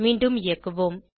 மீண்டும் இயக்குவோம்